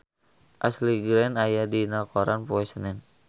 Ashley Greene aya dina koran poe Senen